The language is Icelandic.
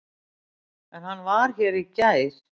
En hann var hér í gær.